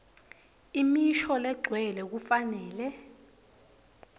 imisho legcwele kufanele